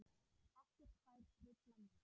Ekkert fær truflað mig.